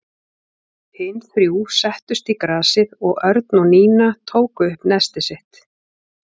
Hin þrjú settust í grasið og Örn og Nína tóku upp nestið sitt.